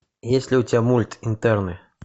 есть ли у тебя мульт интерны